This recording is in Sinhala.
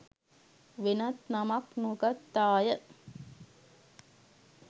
වෙනත් නමක් නොගත්තාය